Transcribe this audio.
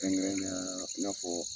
Kɛrɛnkɛrɛnnenya i n'a fɔ